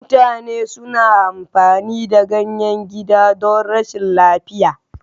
Mutane suna amfani da ganyayen gida don rashin lafiya.